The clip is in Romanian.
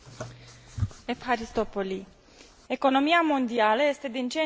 Economia mondială este din ce în ce mai dependentă de transportul aerian.